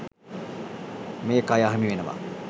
මේ කය අහිමි වෙනවා.